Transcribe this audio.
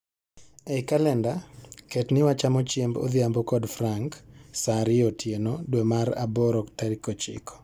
Ei kalenda, ket ni wachamo chiemb odhiambo kod Frank saa ariyo otieno dwe mar aboro tarik ochiko